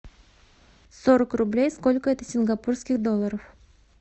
сорок рублей сколько это сингапурских долларов